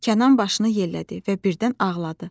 Kənan başını yellədi və birdən ağladı.